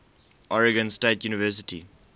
oregon state university